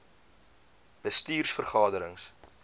bestuurs vergade rings